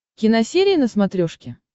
киносерия на смотрешке